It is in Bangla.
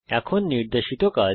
এখন নির্দেশিত কাজ